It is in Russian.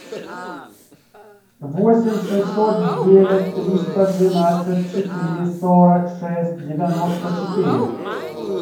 восемь шестьсот девять триста двенадцать четыре сорок шесть девяносто четыре